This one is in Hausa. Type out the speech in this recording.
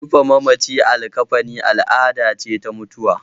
Rufe mamaci a likkafani al'ada ce ta mutuwa.